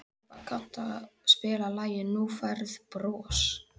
Irpa, kanntu að spila lagið „Þú Færð Bros“?